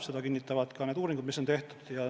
Seda kinnitavad ka need uuringud, mis on tehtud.